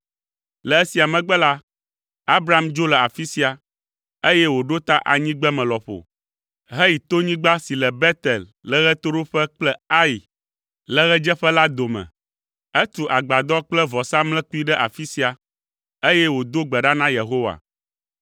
Le esia megbe la, Abram dzo le afi sia, eye wòɖo ta anyigbeme lɔƒo, heyi tonyigba si le Betel le ɣetoɖoƒe kple Ai le ɣedzeƒe la dome. Etu agbadɔ kple vɔsamlekpui ɖe afi sia, eye wòdo gbe ɖa na Yehowa.